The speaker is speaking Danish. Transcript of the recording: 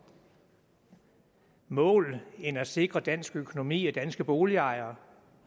mål end at sikre dansk økonomi og danske boligejere